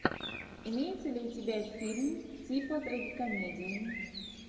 имеется ли у тебя фильм типа трагикомедии